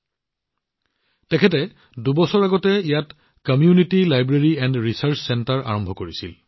যতীনজীয়ে দুবছৰ আগতে ইয়াত এটা community library and research centre আৰম্ভ কৰিছিল